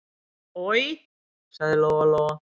Oj, sagði Lóa-Lóa.